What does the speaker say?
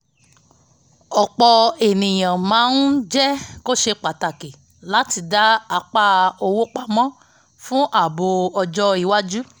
ọ̀pọ̀ ènìyàn máa ń jẹ́ kó ṣe pàtàkì láti dá apá owó pamọ́ fún ààbò ọjọ́ iwájú